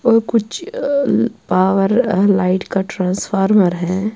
.وو کچھ ا ا آوارہ ا لغت کتلیرس ٹرانسفارمر ہیں